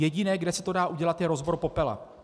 Jediné, kde se to dá udělat, je rozbor popela.